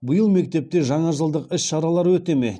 биыл мектепте жаңажылдық іс шаралар өте ме